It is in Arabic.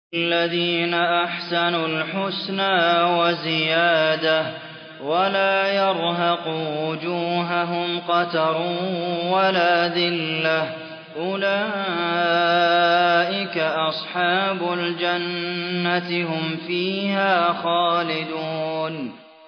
۞ لِّلَّذِينَ أَحْسَنُوا الْحُسْنَىٰ وَزِيَادَةٌ ۖ وَلَا يَرْهَقُ وُجُوهَهُمْ قَتَرٌ وَلَا ذِلَّةٌ ۚ أُولَٰئِكَ أَصْحَابُ الْجَنَّةِ ۖ هُمْ فِيهَا خَالِدُونَ